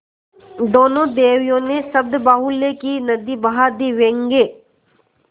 दोनों देवियों ने शब्दबाहुल्य की नदी बहा दी व्यंग्य